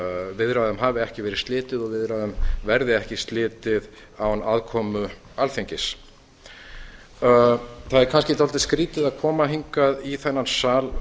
viðræðum hafi ekki verið slitið og viðræðum verði ekki slitið án aðkomu alþingis það er kannski dálítið skrýtið að koma hingað í þennan sal